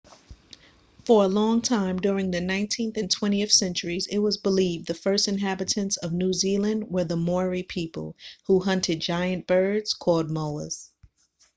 for a long time during the nineteenth and twentieth centuries it was believed the first inhabitants of new zealand were the maori people who hunted giant birds called moas